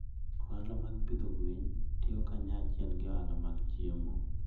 Ohala mag pidho gwen tiyo kanyachiel gi ohala mag chiemo.